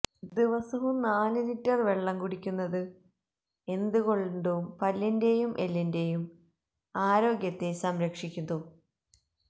ദിവസവും നാല് ലിറ്റര് വെള്ളം കുടിയ്ക്കുന്നത് എന്തുകൊണ്ടും പല്ലിന്റേയും എല്ലിന്റേയും ആരോഗ്യത്തെ സംരക്ഷിക്കുന്നു